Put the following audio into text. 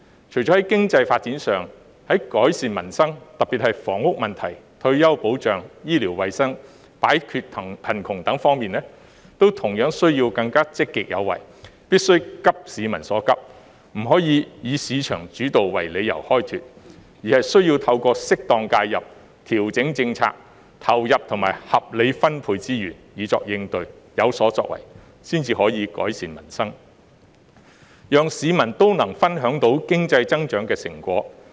除了在經濟發展上，政府在改善民生，特別是房屋問題、退休保障、醫療衞生和擺脫貧窮方面，都同樣需要更積極有為，必須急市民所急，不能再以市場主導為理由開脫，而是需要透過適當介入、調整政策、投入和合理分配資源，以作應對，有所作為，才可改善民生，讓市民也能分享到經濟增長的成果。